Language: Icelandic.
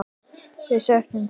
Við söknum þín.